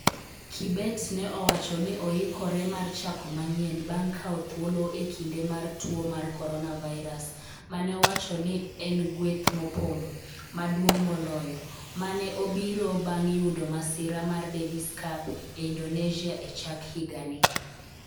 Kibet ne owacho ni oikore mar chako manyien bang' kawo thuolo e kinde mar tuo mar coronavirus ma ne owacho ni en gweth mopondo - maduong' moloyo - ma ne obiro bang' yudo masira mar Davis Cup e Indonesia e chak higani.